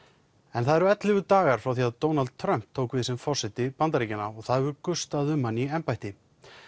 það eru ellefu dagar frá því að Donald Trump tók við sem forseti Bandaríkjanna og það hefur gustað um hann í embætti